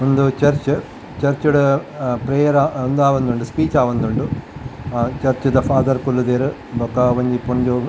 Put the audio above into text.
ಉಂದು church church ಡ್ a prayer ಉಂದು ಆವೊಂದುಂಡು ಸ್ಪೀಚ್ ಆವೊಂದುಂಡು ಚರ್ಚ್ ದ ಫಾದರ್ ಕುಲ್ಲುದೆರ್ ಬೊಕ್ಕ ಒಂಜಿ ಪೊಂಜೊವು.